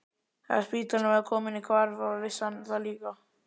Þegar spítalinn var kominn í hvarf var vissan það líka.